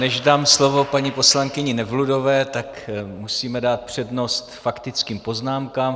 Než dám slovo paní poslankyni Nevludové, tak musíme dát přednost faktickým poznámkám.